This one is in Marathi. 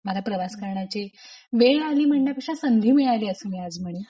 मला प्रवास करण्याचे वेळ आली म्हणण्यापेक्षा संधी मिळाली असे मी आज म्हणेल.